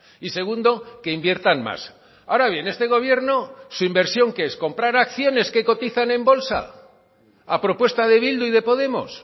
y segundo que inviertan más ahora bien este gobierno su inversión qué es comprar acciones que cotizan en bolsa a propuesta de bildu y de podemos